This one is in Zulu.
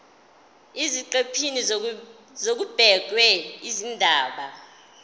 eziqephini kubhekwe izindaba